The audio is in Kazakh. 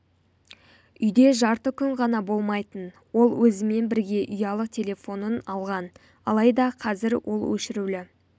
үйде жарты күн ғана болмайтын ол өзімен бірге ұялы телефонын алған алайда қазір ол өшірулі